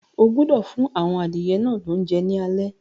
O gbọdọ̀ fún àwọn adìyẹ náà lóúnjẹ ní alé.